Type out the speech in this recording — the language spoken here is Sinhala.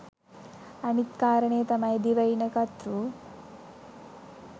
අනිත් කාරණය තමයි දිවයින කතෘ